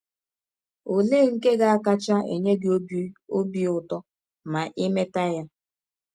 Ọlee nke ga - akacha enye gị ọbi ọbi ụtọ ma i mete ya?